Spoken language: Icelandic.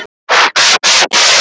Okkar er valið.